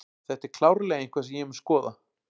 Þetta er klárlega eitthvað sem ég mun skoða.